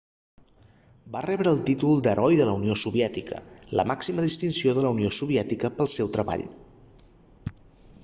va rebre el títol d'"heroi de la unió soviètica la màxima distinció de la unió soviètica pel seu treball